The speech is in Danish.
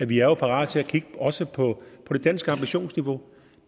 vi er jo parate til at kigge også på det danske ambitionsniveau